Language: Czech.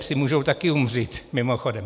Psi můžou taky umřít, mimochodem.